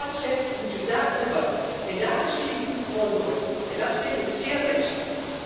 Als u hier wat zegt, moet u daar ook wat doen, maar daar zie ik u gewoon nooit. Dat vind ik zeer ernstig.